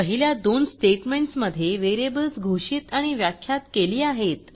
पहिल्या दोन स्टेटमेंटस मध्ये व्हेरिएबल्स घोषित आणि व्याख्यात केली आहेत